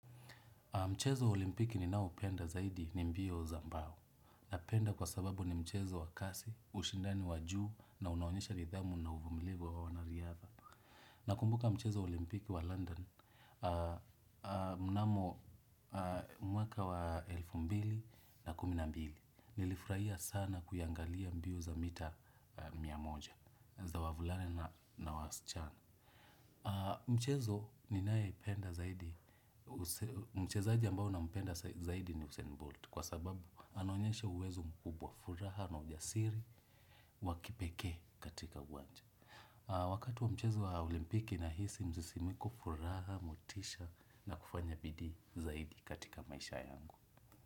Mchezo wa olimpiki ninaopenda zaidi ni mbio za mbao. Napenda kwa sababu ni mchezo wa kasi, ushindani wa juu na unaonyesha nidhamu na uvumilivu wa wanariadha. Nakumbuka mchezo wa olimpiki wa London, mnamo mwaka wa elfu mbili na kumi na mbili, nilifurahia sana kuyaangalia mbio za mita mia moja za wavulana na wasichana. Mchezo ninayependa zaidi mchezaji ambao nampenda zaidi ni Usain Bolt. Kwa sababu anaonyesha uwezo mkubwa furaha na ujasiri wa kipekee katika uwanja. Wakati wa mchezo wa olimpiki nahisi msisimiko furaha, motisha na kufanya bidii zaidi katika maisha yangu.